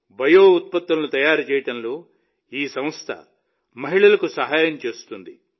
bio ఉత్పత్తులను తయారు చేయడంలో ఈ సంస్థ మహిళలకు సహాయం చేస్తుంది